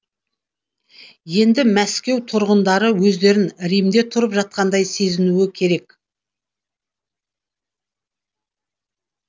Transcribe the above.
енді мәскеу тұрғындары өздерін римде тұрып жатқандай сезінуі керек